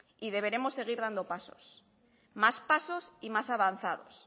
y deberemos seguir dando pasos más pasos y más avanzados